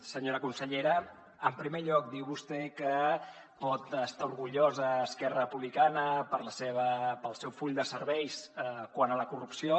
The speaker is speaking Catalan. senyora consellera en primer lloc diu vostè que pot estar orgullosa a esquerra republicana pel seu full de serveis quant a la corrupció